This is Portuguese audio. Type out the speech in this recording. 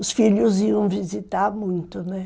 Os filhos iam visitar muito, né?